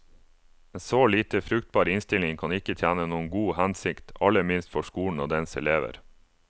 En så lite fruktbar innstilling kan ikke tjene noen god hensikt, aller minst for skolen og dens elever.